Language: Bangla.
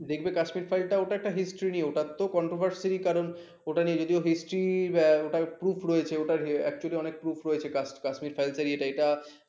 দেখবে কাশ্মীরের files টা ওটা একটা history নিয়ে ওটা তো controversy কারণ ওটা যদিও history proof রয়েছে actually টার অনেক proof রয়েছে কাশ্মীরি